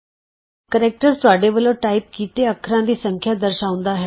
characters ਤੁਹਾਡੇ ਵਲੋਂ type ਕੀਤੇ ਅੱਖਰਾਂ ਦੀ ਸੰਖਿਆ ਦਰਸਾਂਉਂਦਾ ਹੈ